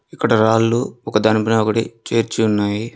ఇక్కడ రాళ్లు ఒక దాని పైన ఒకటి చేర్చి ఉన్నాయి.